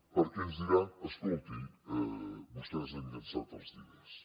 perquè ens diran escolti vostès han llançat els diners